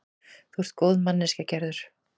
Þú ert góð manneskja, Gerður.